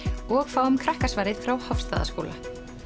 og fáum krakkasvarið frá Hofsstaðaskóla